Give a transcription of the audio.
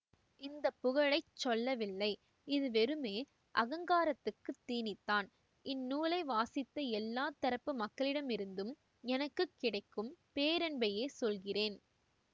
இந்த புகழைச்சொல்லவில்லை இது வெறுமே அகங்காரத்துக்கு தீனிதான் இந்நூலை வாசித்த எல்லா தரப்பு மக்களிடமிருந்தும் எனக்கு கிடைக்கும் பேரன்பையே சொல்கிறேன்